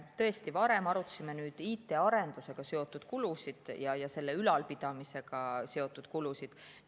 Tõesti, me varem arutasime IT‑arendusega seotud kulusid ja selle ülalpidamisega seotud kulusid.